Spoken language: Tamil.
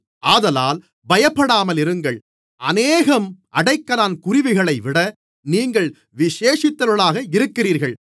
ஆதலால் பயப்படாமலிருங்கள் அநேகம் அடைக்கலான் குருவிகளைவிட நீங்கள் விசேஷித்தவர்களாக இருக்கிறீர்கள்